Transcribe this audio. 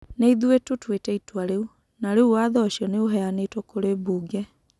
Nĩ ithuĩ tũtuĩte itua rĩu, na rĩu watho ũcio nĩ ũheanĩtwo kurĩ mbunge.